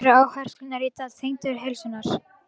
Hvar eru áherslurnar í dag, tengdar heilsu?